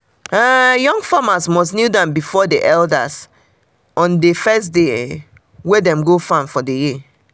young farmers must kneel down before elders on um the um first dey wey dem go farm for the year.